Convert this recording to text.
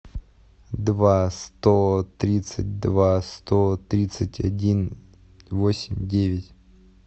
два сто тридцать два сто тридцать один восемь девять